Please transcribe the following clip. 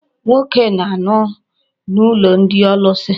Nwoke na-anọ n'ụlọ ndị ọlụsị.